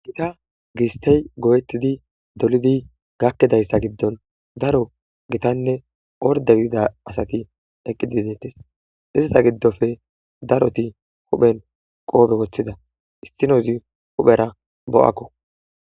ikka gistey go7etidi dolidi gakkidayssa giddon daro gitanne ordegidida asaki eqqidi deettes izita giddofe daroti huphen qoobe woththida istinozi huphera bo7akko